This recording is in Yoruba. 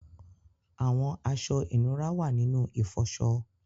Àwọn aṣọ̀ inúrà wà nínu ifọṣọ̀.